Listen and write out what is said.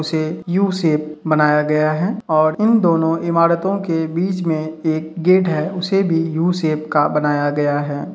उसे यू-सेप बनाया गया है और इन दोनों इमारतो के बीच में एक गेट है उसे भी यू-सेप का बनाया गया है।